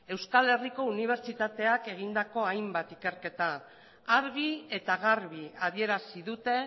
euskal herriko unibertsitateak egindako hainbat ikerketa argi eta garbi adierazi dute